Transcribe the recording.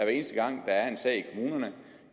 eneste gang der er en sag